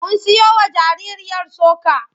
Mun siyowa jaririyar soka.